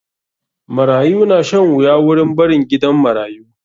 Marayu na shan wuya wurin barin gidan marayu.